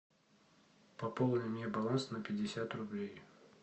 пополни мне баланс на пятьдесят рублей